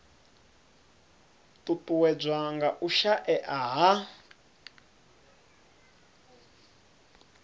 ṱuṱuwedzwa nga u shaea ha